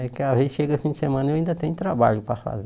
Porque a gente chega o fim de semana e eu ainda tenho trabalho para fazer.